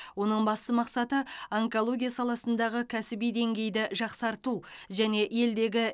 оның басты мақсаты онкология саласындағы кәсіби деңгейді жақсарту және елдегі